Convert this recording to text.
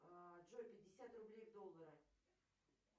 джой пятьдесят рублей в доллары